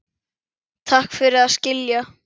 Takk fyrir að skilja.